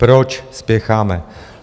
Proč spěcháme?